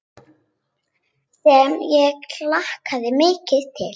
Sem ég hlakka mikið til.